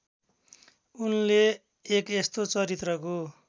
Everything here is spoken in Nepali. उनले एक यस्तो चरित्रको